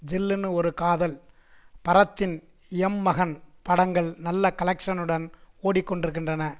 ஜில்லுனு ஒரு காதல் பரத்தின் எம் மகன் படங்கள் நல்ல கலெக்ஷ்னுடன் ஓடிக்கொண்டிருக்கின்றன